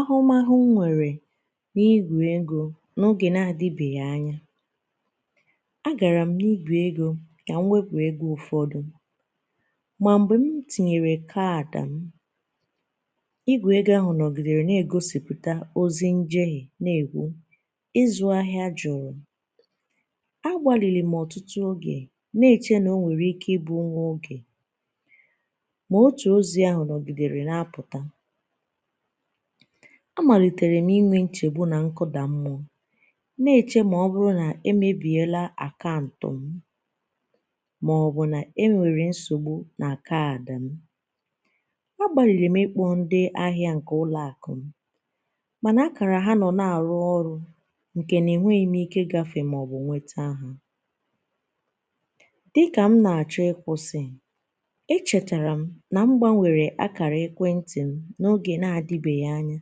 Ahụmahụ m nwere n'igwe ego n'oge n'adịbeghi anya agaram n'igwe ego ka m wepụ ego ụfọdụ ma mgbe m tinyere kaadị m igwe ego ahụ nọgịdere n'egosịpụta ozi njehie n'ekwu ịzụ ahịa jụrụ agbalịrịm ọtụtụ oge n'eche na o nwere ike ịbụ nwa oge ma otú ozi ahụ nọgịdere na apụta amaliterem inwe nchegbu na nkụda mmụọ n'eche na ọ bụrụ na emebiela akantu mụ ma ọ bụ na enwere nsogbu na kaadị mụ agbalịrịm ịkpọ ndị ahịa nke ụlọ akụm mana ákàrà ha nọ na-arụ ọrụ nke n'enweghịm ike ịgafe ma ọ bụ nweta ha dị ka m na-achọ ikwụsị echetaram na m gbanwere akara ekwentị m n'oge n'adịbeghi anya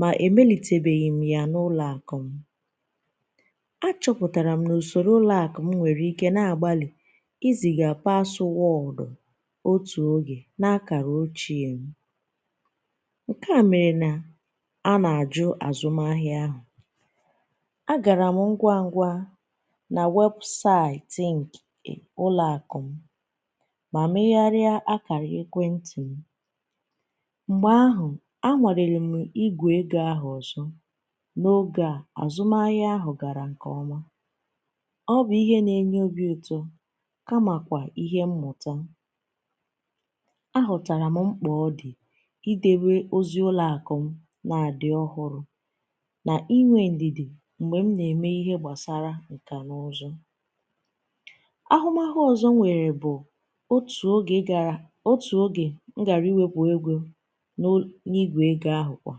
ma emelitebeghịm ya n'ụlọakụm achọpụtaram n'usoro ụlọakụm nwere ike na-agbalị iziga paswọdụ otu oge n'akara ochiem nkea mere na ana-ajụ azụm ahịa ahụ agaram ngwa ngwa na websaịtị ụlọakụm ma megharịa akara ekwentị m mgbe ahụ anwalerem igwe ego ahụ ọzọ n'oge a azụmahịa ahụ gara nke ọma ọ bụ ihe na-enye obi ụtọ kama kwa ihe mmụta ahụtaram mkpa ọ dị ịdote ozi ụlọakụm na-adị ọhụrụ na ịnwe ndidi mgbe m na-eme ihe gbasara nkanụzụ ahụmahụ ọzọ m nwere bụ otu oge m gara ịwepụ ego n’igwe ego ahụ kwa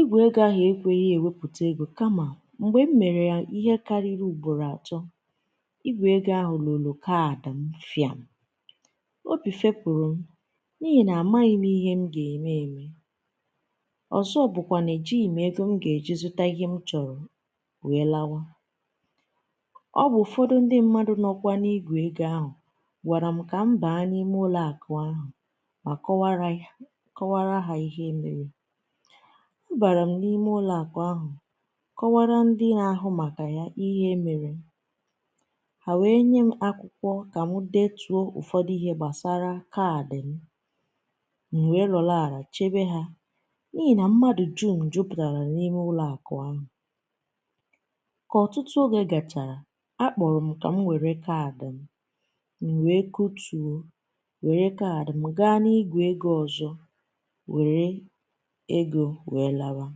igwe ego ahụ ekweghị ewepụta ego kama mgbe m mere ya ihe karịrị ugboro atọ igwe ego ahụ loro kaadị m fịam Obi fepụrụ m n'ihi na amaghịm ihe m ga-eme eme ọzọ bụkwa na ejighị m ego m ga-eji zụta ihe m chọrọ wee lawa ọ bụ ụfọdụ ndị mmadụ nọkwa n'igwe ego ahụ gwaram ka m baa n'ime ụlọakụ ahụ ma kọwaara ha ihe mere abaram n'ime ụlọakụ ahụ kọwaara ndị n'ahụ maka yá ihe mere ha wee nyem akwụkwọ ka m were detuo ụfọdụ ihe gbasara kaadị m m wee nọrọ ala chebe ha n’ihi na mmadụ dum jupụtara n'ime ụlọakụ ahụ ka ọtụtụ oge gachara akpọrọ m ka m were kaadị m m wee kutuo were kaadị m gaa n’igwe ego ọzọ were ego wee lawa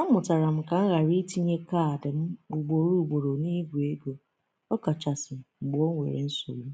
amụtara m ka m ghara itinye kaadị m ugboro ugboro n'igwe ego ọkachasị mgbe ọ nwere nsogbu